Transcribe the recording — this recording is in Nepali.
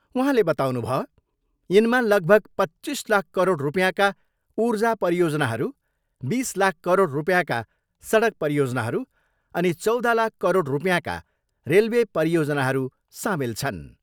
उहाँले बताउनुभो, यिनमा लगभग पच्चिस लाख करोड रुपियाँका ऊर्जा परियोजनाहरू, बिस लाख करोड रुपियाँका सडक परियोजनाहरू अनि चौध लाख करोड रुपियाँका रेलवे परियोजनाहरू सामेल छन्।